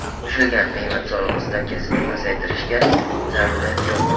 Qo‘shilgan qiymat solig‘i stavkasini pasaytirishga zarurat yo‘q.